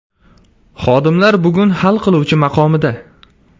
Xodimlar bugun hal qiluvchi maqomida!